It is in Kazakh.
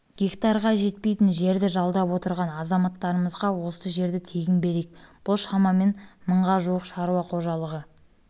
гектарға жетпейтін жерді жалдап отырған азаматтарымызға осы жерді тегін берейік бұл шашамен мыңға жуық шаруа қожалығы